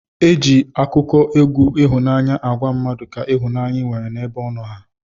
Eji akụkọ egwu ihụnanya agwa mmadu ka ihụnanya inwere na ebe ọno ha.